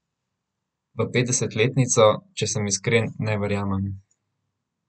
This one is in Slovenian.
V petdesetletnico, če sem iskren, ne verjamem.